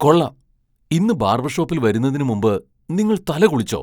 കൊള്ളാം! ഇന്ന് ബാർബർ ഷോപ്പിൽ വരുന്നതിന് മുമ്പ് നിങ്ങൾ തല കുളിച്ചോ?